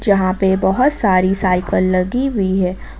यहां पे बहोत सारी साइकल लगी हुई है।